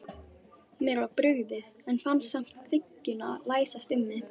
Mér var brugðið, en fann samt þykkjuna læsast um mig.